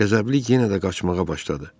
Qəzəbli yenə də qaçmağa başladı.